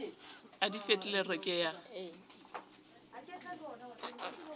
a di fe tlelereke ya